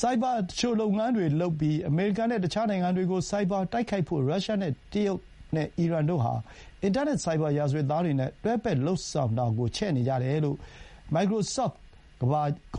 ဆိုက်ဘာသူလျှိုလုပ်ငန်းတွေလုပ်ပြီး အမေရိကန်နဲ့ တခြားနိုင်ငံတွေကို ဆိုက်ဘာတိုက်ခိုက်ဖို့ ရုရှား၊ တရုတ်နဲ့အီရန်တို့ဟာ အင်တာနက် ဆိုက်ဘာရာဇဝတ်သားတွေနဲ့ တွဲဖက်လုပ်ဆောင်တာကို ချဲ့နေကြတယ်လို့ မိုက္ကရိုဆော့ဖ်ကု